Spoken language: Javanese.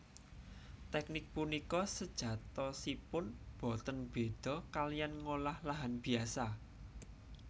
Teknik punika sejatosipun boten béda kaliyan ngolah lahan biasa